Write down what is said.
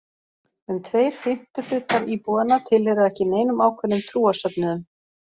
Um tveir fimmtu hlutar íbúanna tilheyra ekki neinum ákveðnum trúarsöfnuðum.